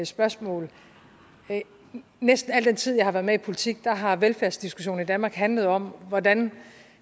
spørgsmål næsten al den tid jeg har været med i politik har velfærdsdiskussionen i danmark handlet om hvordan